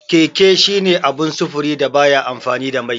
Keke shine abun sufuri da baya amfani da mai.